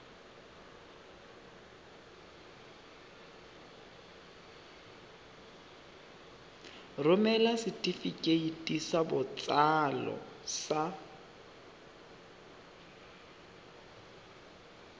romela setefikeiti sa botsalo sa